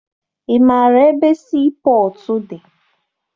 Ị maara ebe sii pọtụ dị?